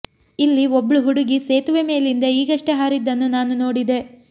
ಇಲ್ಲಿ ಒಬ್ಳು ಹುಡುಗಿ ಸೇತುವೆ ಮೇಲಿಂದ ಈಗಷ್ಟೇ ಹಾರಿದ್ದನ್ನು ನಾನು ನೋಡಿದೆ